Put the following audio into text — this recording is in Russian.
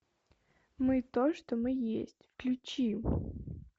мы то что мы есть включи